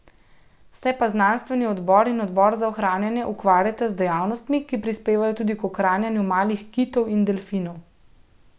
Se pa znanstveni odbor in odbor za ohranjanje ukvarjata z dejavnostmi, ki prispevajo tudi k ohranjanju malih kitov in delfinov.